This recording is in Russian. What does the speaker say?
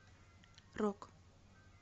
рок